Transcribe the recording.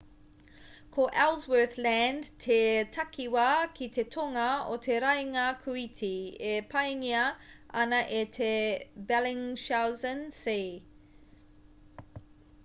ko ellsworth land te takiwā ki te tonga o te raenga kūiti e paengia ana e te bellingshausen sea